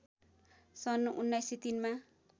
सन् १९०३ मा